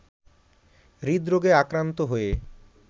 হৃদরোগে আক্রান্ত হয়ে